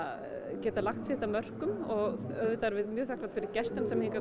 geta lagt sitt að mörkum og auðvitað erum við mjög þakklát fyrir gestina sem hingað